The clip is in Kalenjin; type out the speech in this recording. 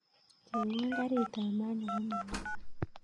Chengwon karit ap maat nebo mombasa